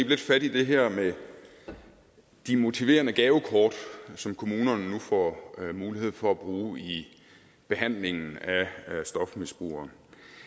lidt fat i det her med de motiverende gavekort som kommunerne nu får mulighed for at bruge i behandlingen af stofmisbrugere